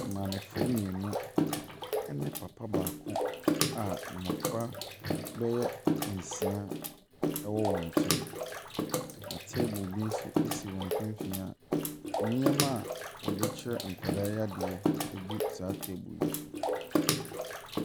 Maamefoɔ mmienu ne papa baako a mmɔfra bɛyɛ nsia wɔ wɔn nkyɛn, na table bi nso si wɔn mfimfini a nneɛma a wɔde kyerɛ nkwasaa yi adeɛ gu saa table yi so.